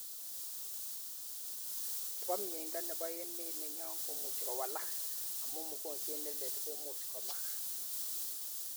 Chebo mnyeindoo nebo emet nenyoo kumuji kowalak, amu mugojwet nelel komuj komak.